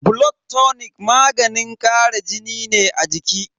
Blood tonic maganin kara jini ne a jiki.